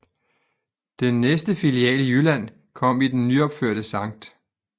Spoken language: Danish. Den næste filial i Jylland kom i den nyopførte Sct